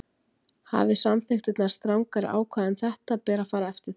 Hafi samþykktirnar strangari ákvæði um þetta ber að fara eftir þeim.